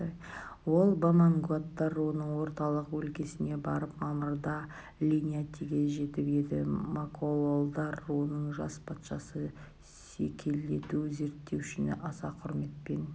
ол бамангуаттар руының орталық өлкесіне барып мамырда линьятиге жетіп еді макололдар руының жас патшасы секелету зерттеушіні аса құрметпен